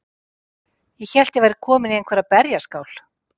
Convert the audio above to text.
Ég hélt að ég væri komin í einhverja berjaskál.